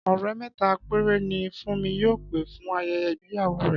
Ọ̀rẹ́ mẹ́ta péré ni Fúnmi yóò pè fún ayẹyẹ igbeyawo rẹ̀